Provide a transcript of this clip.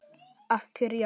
Að kyrja.